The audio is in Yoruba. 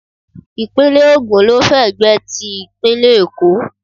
Ìpínlẹ̀ Ògùn ló fẹ̀gbẹ́ ti ìpínlẹ̀ Èkó